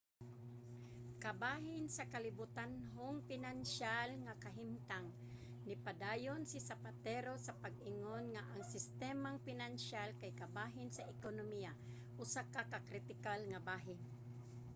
kabahin sa kalibutanhong pinansiyal nga kahimtang nipadayon si zapatero sa pag-ingon nga ang sistemang pinansiyal kay kabahin sa ekonomiya usa ka kritikal nga bahin